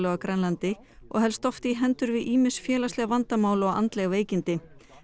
á Grænlandi og helst oft í hendur við ýmis félagsleg vandamál og andleg veikindi